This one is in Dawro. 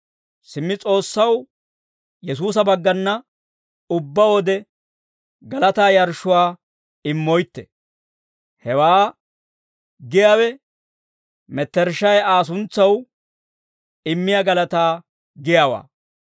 Simmi S'oossaw Yesuusa baggana ubbaa wode galataa yarshshuwaa immoytte; hewaa giyaawe mettershshay Aa suntsaw immiyaa galataa giyaawaa.